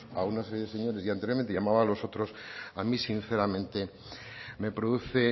a una serie de señores y anteriormente llamaba a los otros a mí sinceramente me produce